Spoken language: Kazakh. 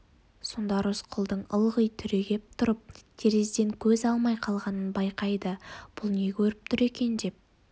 сонда рысқұлдың ылғи түрегеп тұрып терезеден көз алмай қалғанын байқайды бұл не көріп тұр екен деп